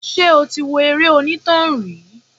Ṣé o ti wo eré onítàn rí?